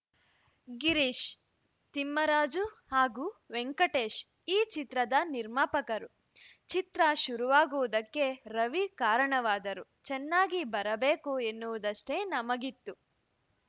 ಗಿರೀಶ್‌ ತಿಮ್ಮರಾಜು ಹಾಗೂ ವೆಂಕಟೇಶ್‌ ಈ ಚಿತ್ರದ ನಿರ್ಮಾಪಕರು ಚಿತ್ರ ಶುರುವಾಗುವುದಕ್ಕೆ ರವಿ ಕಾರಣವಾದರು ಚೆನ್ನಾಗಿ ಬರಬೇಕು ಎನ್ನುವುದಷ್ಟೇ ನಮಗಿತ್ತು